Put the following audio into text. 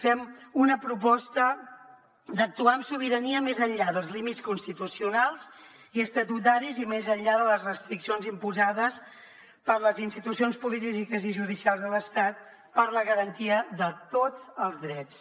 fem una proposta d’actuar amb sobirania més enllà dels límits constitucionals i estatutaris i més enllà de les restriccions imposades per les institucions polítiques i judicials de l’estat per a la garantia de tots els drets